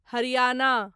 Haryana